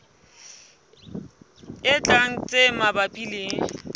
e tlang tse mabapi le